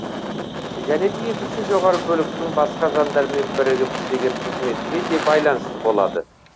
және де екінші жоғары бөліктің басқа жандармен бірігіп істеген қызметіне де байланысты болады